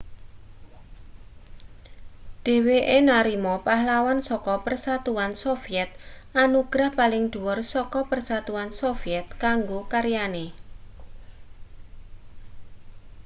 dheweke narima pahlawan saka persatuan soviet anugerah paling dhuwur saka persatuan soviet kanggo karyane